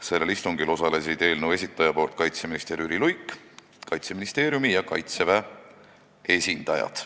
Sellel istungil osalesid eelnõu esitaja nimel kaitseminister Jüri Luik ning Kaitseministeeriumi ja Kaitseväe esindajad.